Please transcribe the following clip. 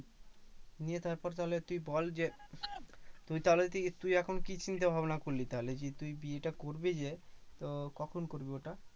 নিয়ে তারপর তাহলে তুই বল যে, তুই তাহলে কি তুই এখন কি চিন্তাভাবনা করলি তাহলে? যে তুই বিয়ে টা করবি যে তো কখন করবি ওটা?